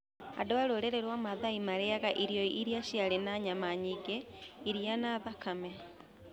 Andũ a rũrĩrĩ rwa mathai marĩĩaga irio iria ciarĩ na nyama nyingĩ, iria, na thakame.